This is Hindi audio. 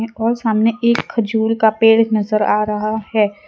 और सामने एक खजूर का पेड़ एक नजर आ रहा है।